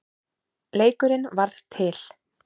Leikurinn varð til.